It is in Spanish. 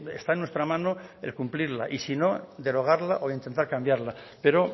está en nuestra mano el cumplirla y sino derogarla o intentar cambiarla pero